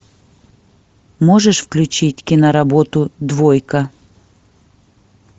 можешь включить киноработу двойка